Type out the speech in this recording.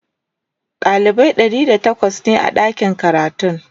dalibai ɗari da takwas ne a ɗakin karatun